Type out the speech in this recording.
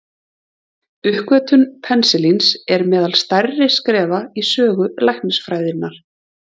Uppgötvun penisilíns er meðal stærri skrefa í sögu læknisfræðinnar.